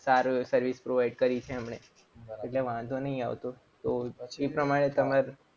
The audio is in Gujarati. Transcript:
સારી એવી service provide કરી છે એમણે એટલે વાંધો નહીં આવતો.